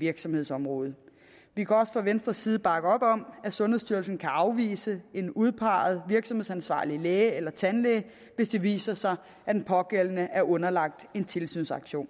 virksomhedsområde vi kan også fra venstres side bakke op om at sundhedsstyrelsen kan afvise en udpeget virksomhedansvarlig læge eller tandlæge hvis det viser sig at den pågældende er underlagt en tilsynsaktion